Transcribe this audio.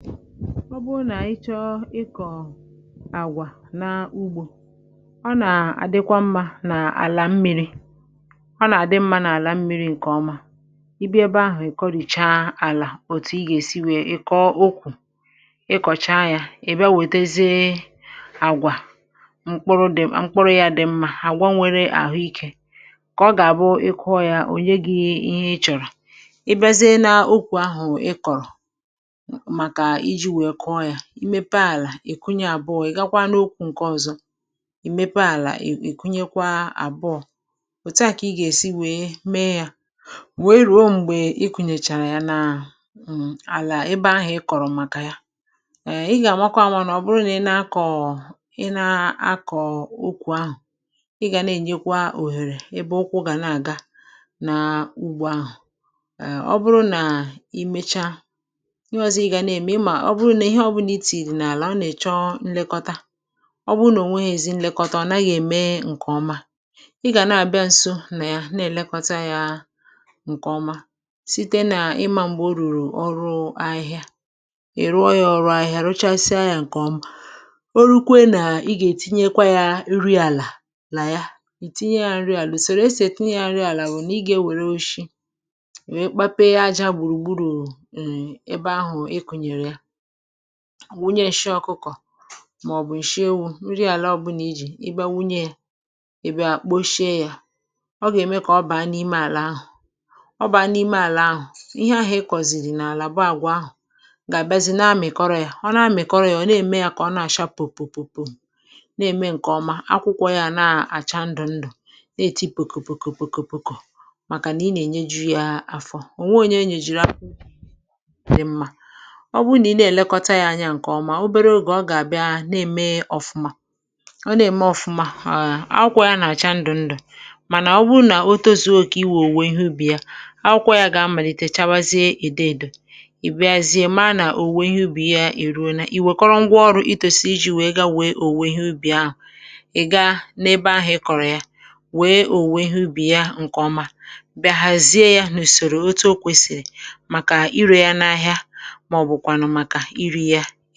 Ọ bụrụ na ị chọọ ịmepụta àgwà dị mma n’ugbo, um ọ dịkwa mma ileba anya n’ala mgbe ọ dị mmiri. Mgbe ị kọrọchara ala, ihe ọzọ bụ otu ị ga-esi kụọ mkpụrụ ma lekọta ya nke ọma ka ị nweta àgwà dị mma. Àgwà dị mma nwere ike inye aka mee ka ihe gaa nke ọma, um ma nke a dabere n’otú i siri kụọ ya na otú i siri lekọta ya. Iji kwadebe ala, ihe mbụ bụ imepe ala, kụnye ya, ma mechaa ị harọ ya ọzọ ka ọ dị mma maka ịkụ mkpụrụ. Mgbe ị kụnyechara ala, ị ga-amata na ala ahụ dị njikere maka iji. Ọ bụrụ na e lekọtara ala nke ọma, ọ ga-akwado uto mkpụrụ. Ọ dịkwa mkpa inye ntị. A ga na-abịa nso ugbo ahụ ugboro ugboro, um wepụ ahịhịa mgbe ọ dị mkpa. Mgbe i rụchara ọrụ ịkpụ ahịhịa, ị ga-etinye ụre n’ala. Nke a nwere ike ime site n’itinye ajá gburu gburu, nsị ọkụkọ, ma ọ bụ nsị ewu n’ala ebe a tinyere mkpụrụ. Mgbe nke a gasịrị, um nri ga-abanye n’ala ma nyere mkpụrụ ka ọ too nke ọma. N’ihi nke a, mkpụrụ ga-apụta akwụkwọ ndụ ndụ ọhụrụ, ma osisi ahụ too nke ọma. Ọkpụkpụ ya ga-adịkwa ike ma sie ike, um nke na-egosi na a na-enye ya nri nke ọma. Mgbe obere oge gafere, a ga-ahụ na mkpụrụ ahụ na-eme nke ọma. Mgbe ọ tozuru oke, a ga-akọrọ ya site n’iji ngwa ọrụ kwekọrọ, um wepụta ya n’ugbo, hazie ya n’usoro, kwadebe ya maka ire ahịa.